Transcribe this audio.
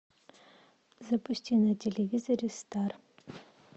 запусти на телевизоре стар